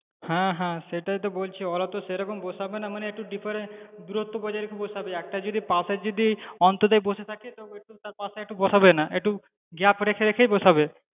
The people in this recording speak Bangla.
হ্যাঁ হ্যাঁ সেটাই তো বলছি ওরা তো সেরকম বসাবে না মানে একটু deferance দূরত্ব বজায় রেখে বসাবে, একটা যদি পাশে যদি অন্তর্জাল বসে থাকে তো তার পাশে বসাবেনা একটু gap রেখে রেখে বসাবে।